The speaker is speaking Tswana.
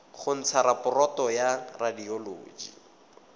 go ntsha raporoto ya radioloji